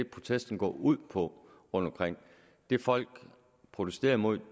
protesten går ud på rundtomkring det folk protesterer imod